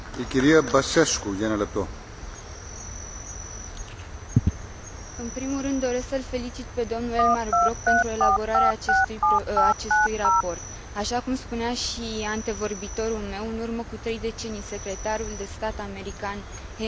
În primul rând doresc să l felicit pe domnul Elmar Brok pentru elaborarea acestui raport. Așa cum spunea și antevorbitorul meu, în urmă cu trei decenii secretarul de stat american Henry Kissinger adresa întrebarea pe cine sun dacă vreau să vorbesc cu Europa.